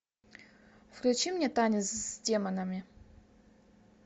включи мне танец с демонами